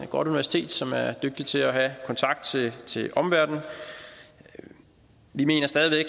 godt universitet som er dygtig til at have kontakt til omverdenen vi mener stadig